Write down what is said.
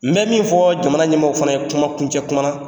N bɛ min fɔ jamana ɲɛmɔgɔw fana ye kumakuncɛ kuma na